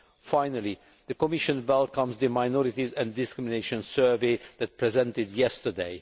Finally, the Commission welcomes the minorities and discrimination survey that was presented yesterday.